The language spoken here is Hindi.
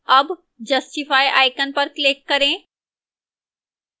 अब justify icon पर click करें